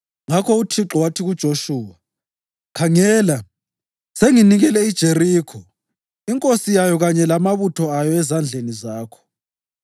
Ngakho uThixo wathi kuJoshuwa, “Khangela, senginikele iJerikho, inkosi yayo kanye lamabutho ayo ezandleni zakho.